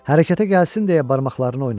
Hərəkətə gəlsin deyə barmaqlarını oynatdı.